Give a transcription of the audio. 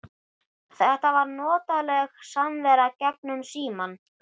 Þetta var notaleg samvera gegnum símann.